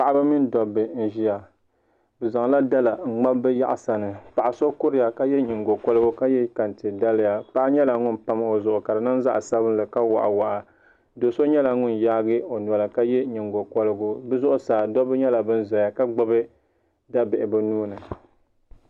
Paɣa ba mini dabba n ʒiya bi zaŋla dala n ŋmabi bi yaɣasa ni paɣa so kuriya ka yɛ nyingokoringa ka yɛ kɛntɛ daliya paɣa nyɛla ŋun pam o zuɣu ka di niŋ zaɣ sabinli ka waɣa waɣa do so nyɛla ŋun yaagi o noli ka yɛ nyingokorigu bi zuɣusaa dabba nyɛla bin ʒɛya ka gbubi dabihi bi nuuni